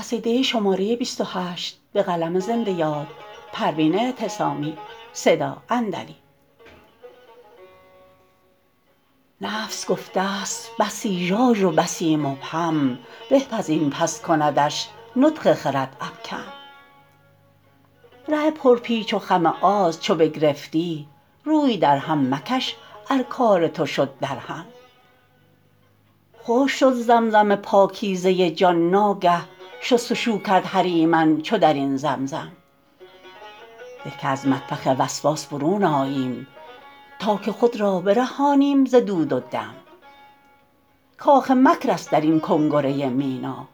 نفس گفته ست بسی ژاژ و بسی مبهم به کز این پس کندش نطق خرد ابکم ره پر پیچ و خم آز چو بگرفتی روی درهم مکش ار کار تو شد درهم خشک شد زمزم پاکیزه جان ناگه شستشو کرد هریمن چو درین زمزم به که از مطبخ وسواس برون آییم تا که خود را برهانیم ز دود و دم کاخ مکر است درین کنگره مینا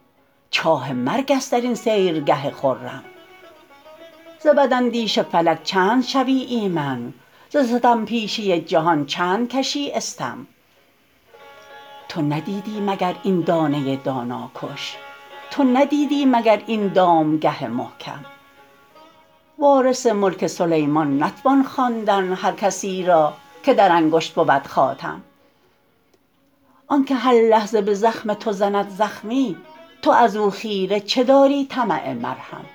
چاه مرگ است درین سیرگه خرم ز بداندیش فلک چند شوی ایمن ز ستم پیشه جهان چند کشی استم تو ندیدی مگر این دانه دانا کش تو ندیدی مگر این دامگه محکم وارث ملک سلیمان نتوان خواندن هر کسیرا که در انگشت بود خاتم آنکه هر لحظه بزخم تو زند زخمی تو ازو خیره چه داری طمع مرهم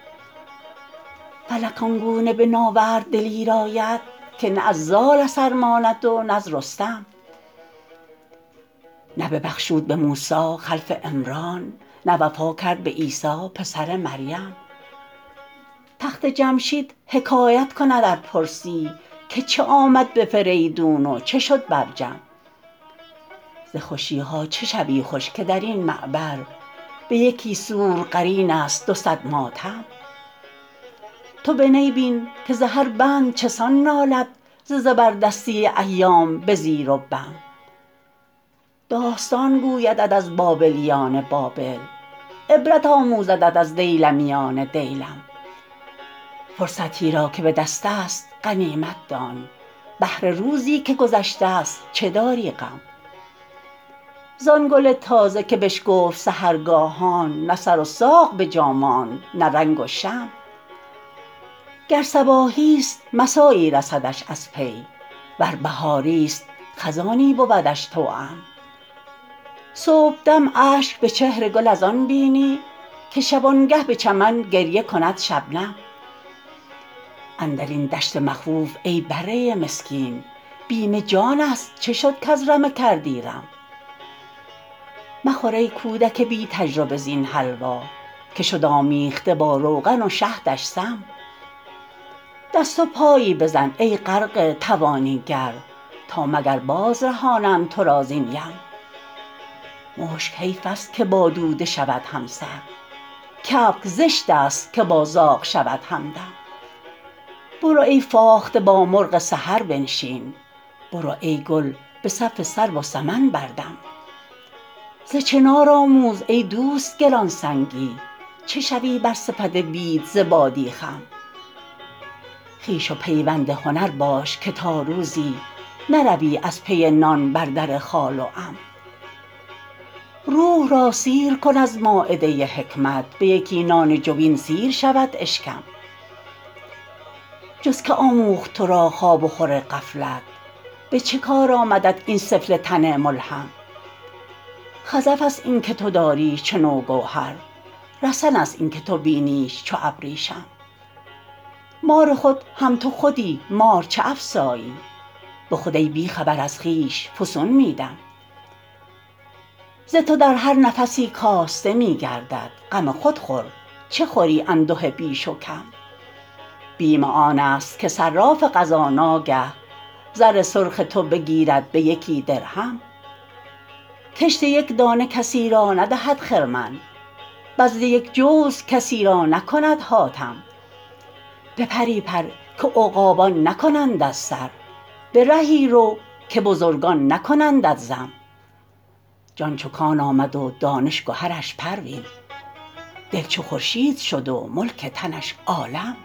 فلک آنگونه به ناورد دلیر آید که نه از زال اثر ماند و نز رستم نه ببخشود بموسی خلف عمران نه وفا کرد به عیسی پسر مریم تخت جمشید حکایت کند ار پرسی که چه آمد به فریدون و چه شد بر جم ز خوشیها چه شوی خوش که درین معبر به یکی سور قرین است دو صد ماتم تو به نی بین که ز هر بند چسان نالد ز زبردستی ایام به زیر و بم داستان گویدت از بابلیان بابل عبرت آموزدت از دیلمیان دیلم فرصتی را که بدستست غنیمت دان بهر روزی که گذشتست چه داری غم زان گل تازه که بشکفت سحرگاهان نه سر و ساق بجا ماند نه رنگ و شم گر صباحیست مسایی رسدش از پی ور بهاریست خزانی بودش توام صبحدم اشک به چهر گل از آن بینی که شبانگه به چمن گریه کند شبنم اندرین دشت مخوف ای بره مسکین بیم جانست چه شد کز رمه کردی رم مخور ای کودک بی تجربه زین حلوا که شد آمیخته با روغن و شهدش سم دست و پایی بزن ای غرقه توانی گر تا مگر باز رهانند تو را زین یم مشک حیفست که با دوده شود همسر کبک زشتست که با زاغ شود همدم برو ای فاخته با مرغ سحر بنشین برو ای گل بصف سرو و سمن بردم ز چنار آموز ای دوست گرانسنگی چه شوی بر صفت بید ز بادی خم خویش و پیوند هنر باش که تا روزی نروی از پی نان بر در خال و عم روح را سیر کن از مایده حکمت بیکی نان جوین سیر شود اشکم جز که آموخت ترا که خواب و خور غفلت به چه کار آمدت این سفله تن ملحم خزفست اینکه تو داریش چنو گوهر رسن است اینکه تو بینیش چو ابریشم مار خود هم تو خودی مار چه افسایی بخود ای بیخبر از خویش فسون میدم ز تو در هر نفسی کاسته میگردد غم خود خور چه خوری انده بیش و کم بیم آنست که صراف قضا ناگه زر سرخ تو بگیرد به یکی درهم کشت یک دانه کسی را ندهد خرمن بذل یک جوز کسی را نکند حاتم به پری پر که عقابان نکنندت سر به رهی رو که بزرگان نکنندت ذم جان چو کان آمد و دانش گهرش پروین دل چو خورشید شد و ملک تنش عالم